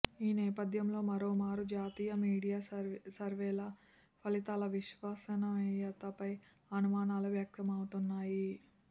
ఈ నేపథ్యంలో మరోమారు జాతీయ మీడియా సర్వేల ఫలితాల విశ్వసనీయతపై అనుమానాలు వ్యక్తమవుతున్నాయి